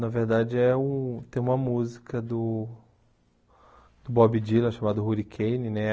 Na verdade, é o tem uma música do do Bob Dylan, chamada Hurricane, né?